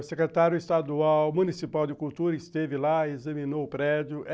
O Secretário Estadual Municipal de Cultura esteve lá, examinou o prédio.